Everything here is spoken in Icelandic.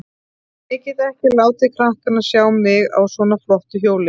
Ég get ekki látið krakkana sjá mig á svona flottu hjóli.